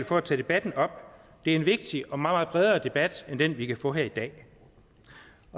for at tage debatten op det er en vigtig og meget meget bredere debat end den vi kan få her i dag